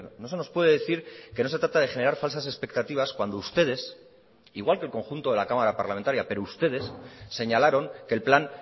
no se nos puede decir que no se trata de generar falsas expectativas cuando ustedes igual que el conjunto de la cámara parlamentaria pero ustedes señalaron que el plan